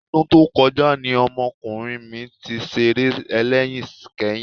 Ọdún tó kọjá ni ọmọkùnrin mi ti ṣeré ẹlẹ́yin kẹ́yìn